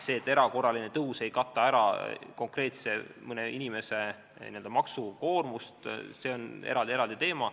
See, et erakorraline tõus ei kata ära konkreetselt mõne inimese n-ö maksukoormust, on eraldi teema.